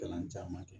Kalan caman kɛ